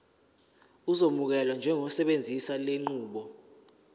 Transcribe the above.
uzokwamukelwa njengosebenzisa lenqubo